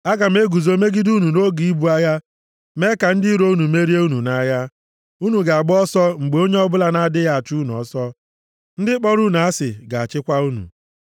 Aga m eguzo megide unu nʼoge ibu agha, mee ka ndị iro unu merie unu nʼagha. Unu ga-agba ọsọ mgbe onye ọbụla na-adịghị achụ unu ọsọ. Ndị kpọrọ unu asị ga-achịkwa unu.